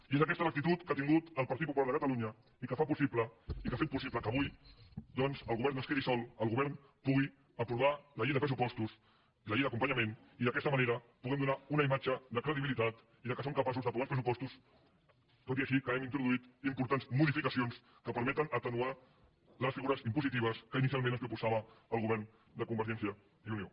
i és aquesta l’actitud que ha tingut el partit popular de cata lunya i que fa possible i que ha fet possible que avui doncs el govern no es quedi sol el govern pugui aprovar la llei de pressupostos la llei d’acompanyament i d’aquesta manera puguem donar una imatge de credibilitat i que som capaços d’aprovar uns pressupostos tot i que hi hàgim introduït importants modificacions que permeten atenuar les figures impositives que inicialment ens proposava el govern de convergència i unió